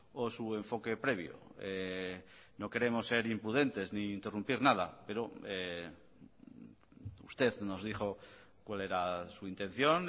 o su enfoque previo no queremos ser imprudentes ni interrumpir nada pero usted nos dijo cuál era su intención